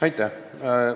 Aitäh!